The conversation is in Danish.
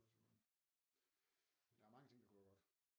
Der er mange ting der kunne være godt